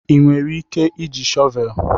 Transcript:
Ị nwere ike iji shọvel?